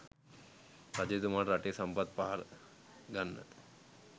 රජතුමාට රටේ සම්පත් පහර ගන්න